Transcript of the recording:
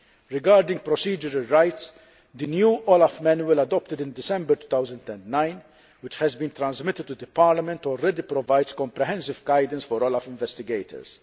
Regarding procedural rights, the new OLAF manual adopted in December 2009, which has been transmitted to Parliament, already provides comprehensive guidance for OLAF investigators.